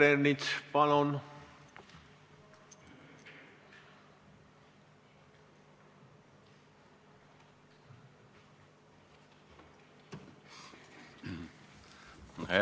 Peeter Ernits, palun!